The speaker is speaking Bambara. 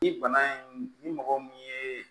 Ni bana in ni mɔgɔ min ye